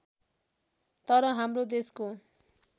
तर हाम्रो देशको